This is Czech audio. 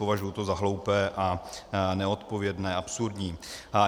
Považuji to za hloupé, neodpovědné a absurdní.